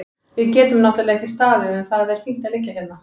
Við getum náttúrlega ekki staðið en það er fínt að liggja hérna.